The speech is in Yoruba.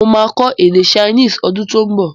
Mo máa kọ́ èdè chinese ọdún tó ún bọ̀